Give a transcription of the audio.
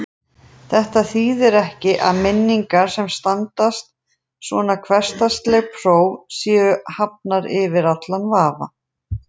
Þetta þýðir ekki að minningar sem standast svona hversdagsleg próf séu hafnar yfir allan vafa.